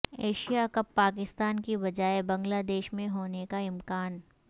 Asia cup Pakistan کی بجائے Bangladesh میں ہونیکا امکان